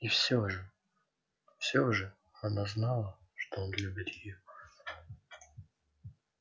и все же все же она знала что он любит её